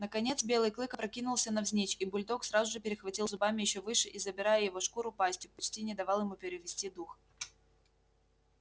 наконец белый клык опрокинулся навзничь и бульдог сразу же перехватил зубами ещё выше и забирая его шкуру пастью почти не давал ему перевести дух